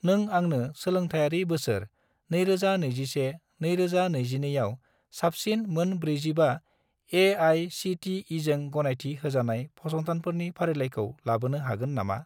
नों आंनो सोलोंथायारि बोसोर 2021 - 2022 आव ‍साबसिन मोन 45 ए.आइ.सि.टि.इ.जों गनायथि होजानाय फसंथानफोरनि फारिलाइखौ लाबोनो हागोन नामा?